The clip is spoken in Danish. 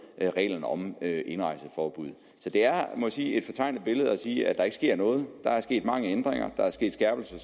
reglerne om indrejseforbud jeg må sige er et fortegnet billede at sige at der ikke sker noget der er sket mange ændringer der er sket skærpelser